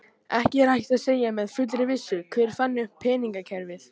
Ekki er hægt að segja með fullri vissu hver fann upp peningakerfið.